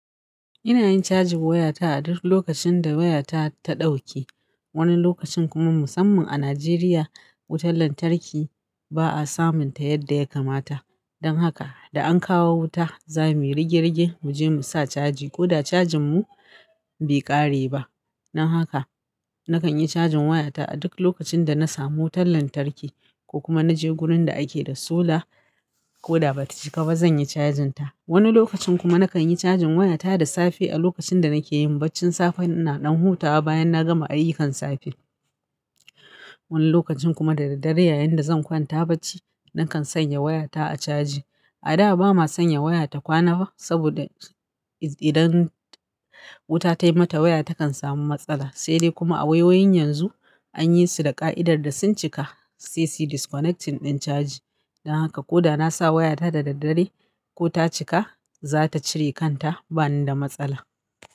Ina yin cajin wayata a duk lokacin da wayata ta ɗauke. Wani lokacin kuma musamman a Najeriya, wutar lantarki ba'a samunta yadda ya kamata. Don haka da an kawo wuta, za muyi rige rige muje mu sa caji ko da cajin mu be ƙare ba. Dan haka nakan yi cajin wayata a duk lokacin da na samu wutar lantarki ko kuma naje gurin da ake da solar ko da bata cika ba zanyi cajin ta. Wani lokacin kuma nakan yi cajin wayata da safe a lokacin da nake yin baccin safe ina ɗan hutawa bayan na gama ayyukan safe. Wani lokacin kuma da daddare yayin da zan kwanta bacci, nakan sanya wayata a caji. A da bama sanya waya ta kwana ba saboda idan wuta tai mata waya takan samu matsala. Sai dai kuma a wayoyin yanzu anyi su da ƙa'idar da sun cika se su disconnecting ɗin caji. Dan haka ko da nasa wayata da daddare ko ta cika, za ta cire kanta bani da matsala.